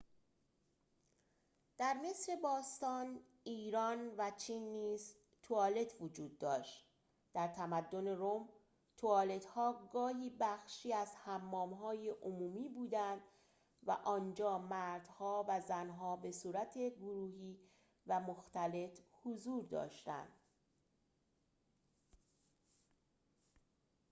در مصر باستان ایران و چین نیز توالت وجود داشت در تمدن روم توالت‌ها گاهی بخشی از حمام‌های عمومی بودند و آنجا مردها و زن‌ها به‌صورت گروهی و مختلط حضور داشتند